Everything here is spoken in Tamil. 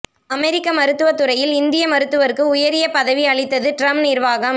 அமெரிக்க மருத்துவதுறையில் இந்திய மருத்துவருக்கு உயரிய பதவி அளித்தது டிரம்ப் நிர்வாகம்